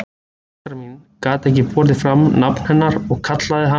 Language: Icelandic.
Fóstra mín gat ekki borið fram nafn hennar og kallaði hana